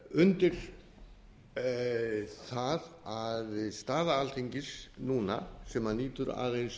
undir það að staða alþingis núna sem nýtur aðeins